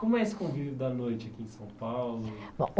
Como é esse convívio da noite aqui em São Paulo? Bom